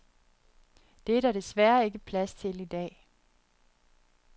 Det er der desværre ikke plads til i dag.